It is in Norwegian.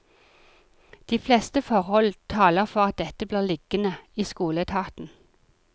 De fleste forhold taler for at dette blir liggende i skoleetaten.